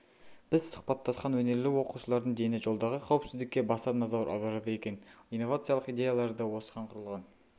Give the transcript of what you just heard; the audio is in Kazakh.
біз сұхбаттасқан өнерлі оқушылардың дені жолдағы қауіпсіздікке баса назар аударады екен инновациялық идеялары да осыған құрылған